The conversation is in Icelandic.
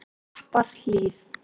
Klapparhlíð